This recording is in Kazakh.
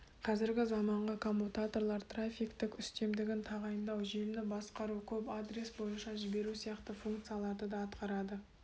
қазіргі заманғы коммутаторлар трафиктің үстемдігін тағайындау желіні басқару көп адрес бойынша жіберу сияқты функцияларды да атқарады